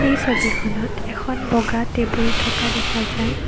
এই ছবিখনত এখন বগা টেবুল থকা দেখা যায়।